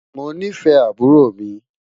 Mọ̀ ní fẹ̀ àbúrò mi